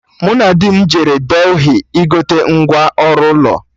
Mụ na di m jere Delhi igote ngwa ọrụ ụlọ